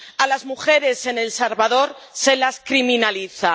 A las mujeres en El Salvador se las criminaliza.